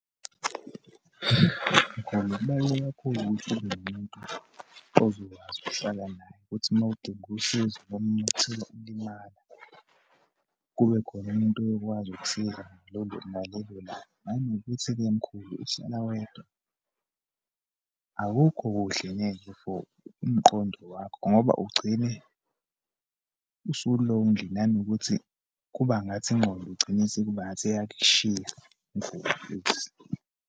Mkhulu, kubaluleke kakhulu ukuthi ube nomuntu ozokwazi ukuhlala naye, ukuthi uma udinga usizo, noma uma uthola ukulimala, kubekhona umuntu oyokwazi ukusiza ngalolo, ngalelolanga. Nanokuthi-ke, mkhulu ukuhlala wedwa, akukho kuhle neze for umqondo wakho, ngoba ugcine usu-lonely, nanokuthi kubangathi ingqondo ugcine sekuba ngathi iyakushiya .